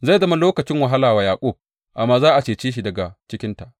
Zai zama lokacin wahala wa Yaƙub, amma za a cece shi daga cikinta.